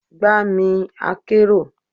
Gba mi akero!